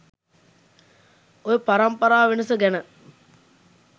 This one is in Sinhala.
ඔය පරම්පරා වෙනස ගැන